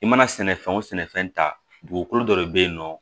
I mana sɛnɛfɛn o sɛnɛfɛn ta dugukolo dɔ de be yen nɔ